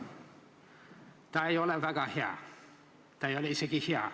See ei ole väga hea, see ei ole isegi mitte hea.